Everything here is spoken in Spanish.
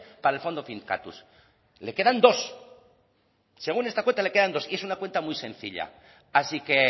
para el fondo finkatuz le quedan dos según esta cuenta le quedan dos y esa es una cuenta muy sencilla así que